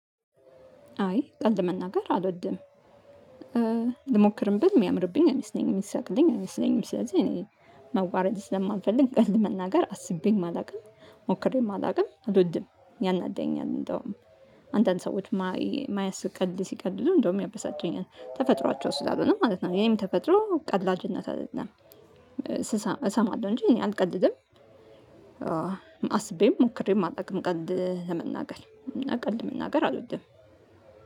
አይ ቀልድ መናገር አልወድም። ልሞክርም ብል የሚያምርብኝ አይመስለኝም የሚስቅልኝ አይመስለኝም። ስለዚህ እኔ መዋረድ ስለማልፈልግ ቀልድ መናገር አስቤም አላውቅም ሞክሬም አላውቅም። አልወድም ያናድደኛል። እንደውም አንዳንድ ሰዎች ማያስቅ ቀልድ ሲቀልዱ እንደውም ያበሳጨኛል ተፈጥሯቸው ስላልሆነ ማለት ነው። የእኔም ተፈጥሮ ቀላጅነት አይደለም። እሰማለሁ እንጂ እኔ አልቀልድም። አስቤም ሞክሬም አላውቅም ቀልድ ለመናገር እና ቀልድ መናገር አልወድም።